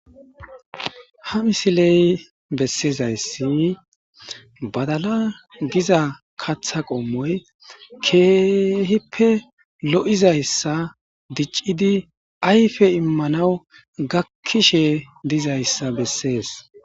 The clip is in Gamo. ha misiley bessizayssin badala giza katha qommoy keehippe lo7izayssa diccidi ayfe immanawu gakkishe dizayssa bessees